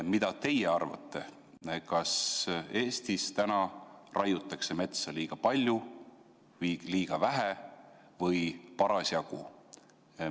Mida teie arvate, kas Eestis raiutakse metsa liiga palju või liiga vähe või parasjagu?